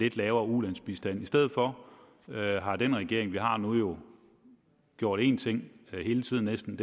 lidt lavere ulandsbistand i stedet for har den regering vi har nu jo gjort én ting hele tiden næsten